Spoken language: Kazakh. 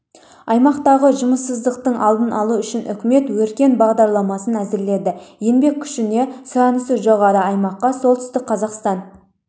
аймақтағы жұмыссыздықтың алдын алу үшін үкімет өркен бағдарламасын әзірледі еңбек күшіне сұранысы жоғары аймаққа солтүстік қазақстан